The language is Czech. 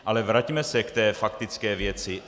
Ale vraťme se k té faktické věci.